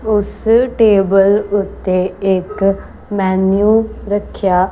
ਉਸ ਟੇਬਲ ਉੱਤੇ ਇੱਕ ਮੈਨਯੂ ਰੱਖਿਆ--